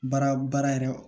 Baara baara yɛrɛ